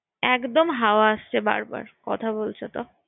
একদম হাওয়া আসছে বার বার কথা বলছো তো